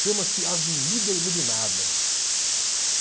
Chama-se Avenida Iluminada.